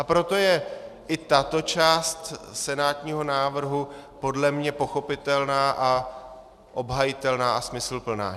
A proto je i tato část senátního návrhu podle mne pochopitelná a obhajitelná a smysluplná.